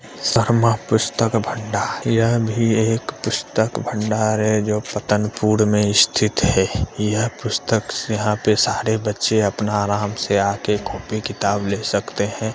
शर्मा पुस्तक भंडार यह भी एक पुस्तक भंडार है जो पतनपुर में स्थित है यह पुस्तक से यहाँ पे सारे बच्चे अपना आराम से आके कॉपी किताब ले सकते हैं।